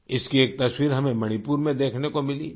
इसकी एक तस्वीर हमें मणिपुर में देखने को मिली थी